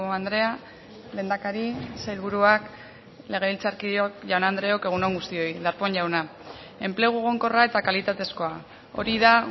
andrea lehendakari sailburuak legebiltzarkideok jaun andreok egun on guztioi darpón jauna enplegu egonkorra eta kalitatezkoa hori da